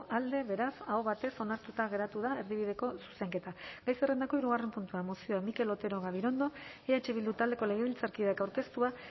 alde beraz aho batez onartuta geratu da erdibideko zuzenketa gai zerrendako hirugarren puntua mozioa mikel otero gabirondo eh bildu taldeko legebiltzarkideak aurkeztua